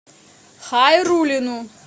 хайруллину